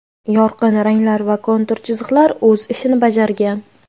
Yorqin ranglar va kontur chiziqlar o‘z ishini bajargan.